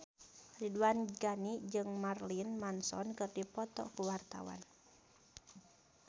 Ridwan Ghani jeung Marilyn Manson keur dipoto ku wartawan